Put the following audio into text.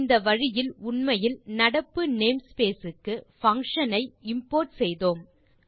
இந்த வழியில் உண்மையில் நடப்பு name ஸ்பேஸ் க்கு பங்ஷன் களை இம்போர்ட் செய்தோம்